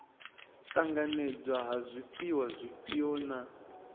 ṱanganedzwa ha zwifhiwa zwifhio na